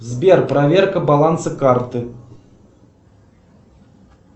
сбер проверка баланса карты